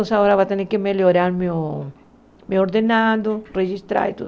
Então agora vai ter que melhorar meu meu ordenado, registrar e tudo.